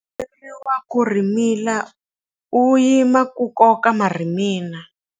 U komberiwa ku rhimila u yima ku koka marhimila.